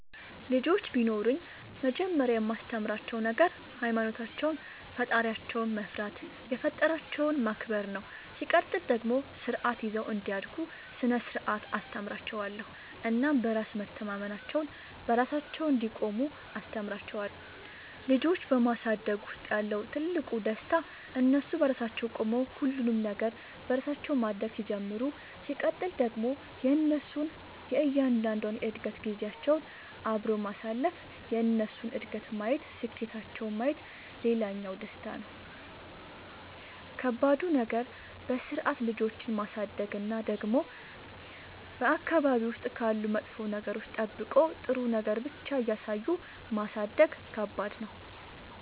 ልጆች ቢኖሩኝ መጀመሪያ የማስተምራቸዉ ነገር ሃይማኖታቸውን ፈጣሪያቸውን መፍራት የፈጠራቸውን ማክበር ነው ሲቀጥል ደግሞ ስርዓት ይዘው እንዲያድጉ ስነ ስርዓት አስተምራችኋለሁ እናም በራስ መተማመናቸውን, በራሳቸው እንዲቆሙ አስተምራቸዋለሁ። ልጆች በማሳደግ ውስጥ ያለው ትልቁ ደስታ እነሱ በራሳቸው ቆመው ሁሉንም ነገር በራሳቸው ማድረግ ሲጀምሩ ሲቀጥል ደግሞ የእነሱን እያንዳንዷን የእድገት ጊዜያቸውን አብሮ ማሳለፍ የእነሱን እድገት ማየት ስኬታቸውን ማየት ሌላኛው ደስታ ነው። ከባዱ ነገር በስርዓት ልጆችን ማሳደግ እና ደግሞ በአካባቢ ውስጥ ካሉ መጥፎ ነገሮች ጠብቆ ጥሩ ነገር ብቻ እያሳዩ ማሳደግ ከባድ ነው።